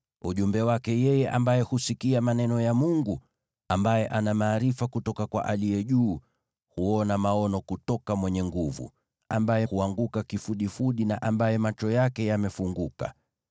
ujumbe wake yeye ambaye husikia maneno ya Mungu, ambaye ana maarifa kutoka kwa Aliye Juu Sana, huona maono kutoka Mwenyezi, ambaye huanguka kifudifudi na ambaye macho yake yamefunguka: